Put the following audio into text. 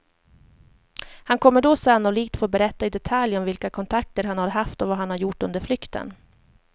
Han kommer då sannolikt få berätta i detalj om vilka kontakter han har haft och vad han har gjort under flykten.